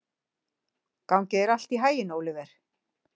Gangi þér allt í haginn, Óliver.